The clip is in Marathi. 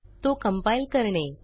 तो कंपाइल करणे